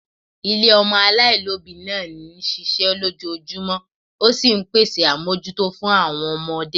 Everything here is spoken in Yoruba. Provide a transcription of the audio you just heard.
Ilé ọmọ aláìlóbìí náà ń ṣiṣẹ́ lójoojúmọ́, ó sì ń pèsè àbójútó fún àwọn ọmọdé